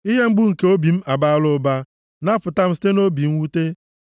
Ihe mgbu nke obi m abaala ụba, napụta m site nʼobi mwute.